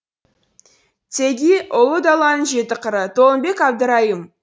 теги ұлы даланың жеті қыры толымбек әбдірайым